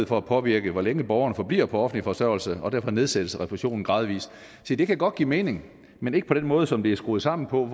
for at påvirke hvor længe borgerne forbliver på offentlig forsørgelse og derfor nedsættes refusionen gradvis se det kan godt give mening men ikke på den måde som det er skruet sammen på